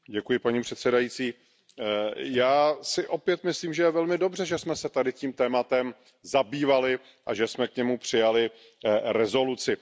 Paní předsedající, já si opět myslím, že je velmi dobře, že jsme se tady tím tématem zabývali a že jsme k němu přijali rezoluci.